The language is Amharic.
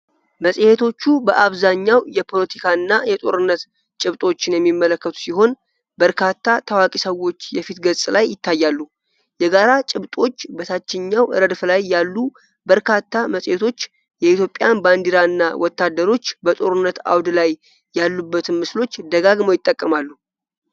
መጽሔቶቹ በአብዛኛው የፖለቲካ እና የጦርነት ጭብጦችን የሚመለከቱ ሲሆን፣ በርካታ ታዋቂ ሰዎች የፊት ገጽ ላይ ይታያሉ። የጋራ ጭብጦች: በታችኛው ረድፍ ላይ ያሉ በርካታ መጽሔቶች የኢትዮጵያን ባንዲራ እና ወታደሮች በጦርነት አውድ ላይ ያሉበትን ምስሎች ደጋግመው ይጠቀማሉ።